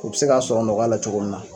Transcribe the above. U bɛ se k'a sɔrɔ nɔgɔya la cogo min na.